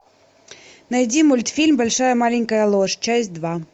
найди мультфильм большая маленькая ложь часть два